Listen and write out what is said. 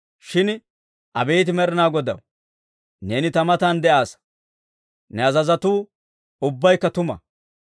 Shin abeet Med'inaa Godaw, neeni ta matan de'aassa; ne azazotuu ubbaykka tuma.